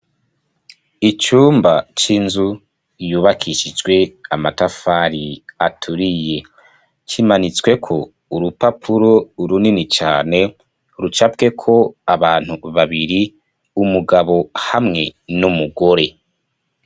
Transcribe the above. Icumba c'inzu yubakishijwe amatafari aturiye, kimanitsweko urupapuro runini cane rucafyeko abantu babiri umugabo hamwe n'umugore.